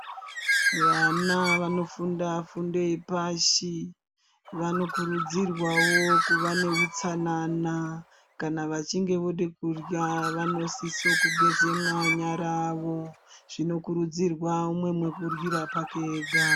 Vana vanofunda fundo yepashi vanokurudzirwawo kuva neutsanana kana vachinge voda kurya vanosisa kugeza manyara awo zvinokurudzirwa kuti umwe umwe aryire pake ega.